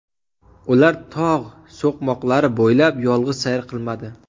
Ular tog‘ so‘qmoqlari bo‘ylab yolg‘iz sayr qilmadi.